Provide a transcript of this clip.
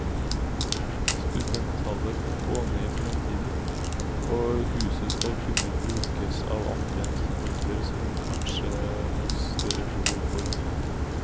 Studenttallet kan gå ned i fremtiden, og huset skal kunne brukes av andre enn studenter, som kanskje har større behov for bil.